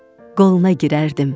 Qoluna girərdim.